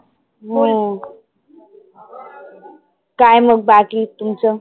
हम्म काय मग बाकी तुमच?